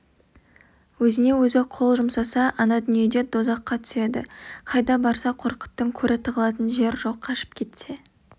өзіне-өзі қол жұмсаса ана дүниеде дозаққа түседі қайда барса қорқыттың көрі тығылатын жер жоқ қашып кетсе